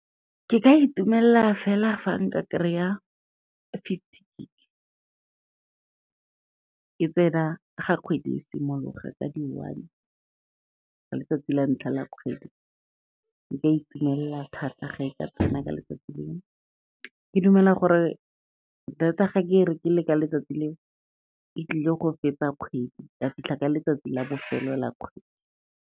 Ke ka itumelela fela fa nka kry-a fifty gig, e tsena ga kgwedi e simologa ka di one, ka letsatsi la ntlha la kgwedi, nka e itumelela thata ga e ka tsena ka letsatsi leo. Ke dumela gore data ga ke rekile ka letsatsi leo, e tlile go fetsa kgwedi ya fitlha ka letsatsi la bofelo la kgwedi.